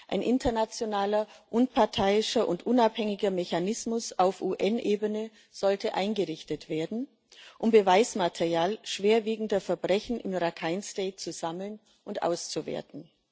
Ein internationaler, unparteiischer und unabhängiger Mechanismus auf UN Ebene sollte eingerichtet werden, um Beweismaterial schwerwiegender Verbrechen im Rakhine State zu sammeln und auszuwerten.